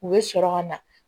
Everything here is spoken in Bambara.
U bɛ sɔrɔ ka na